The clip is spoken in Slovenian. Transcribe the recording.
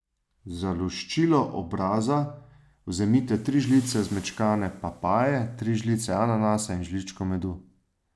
Za luščilo obraza vzemite tri žlice zmečkane papaje, tri žlice ananasa in žličko medu.